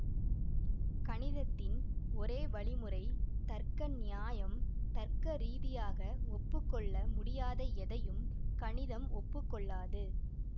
கணிதத்தின் ஒரே வழிமுறை தர்க்க நியாயம் தர்க்க ரீதியாக ஒப்பு கொள்ள முடியாத எதையும் கணிதம் ஒப்புக்கொள்ளாது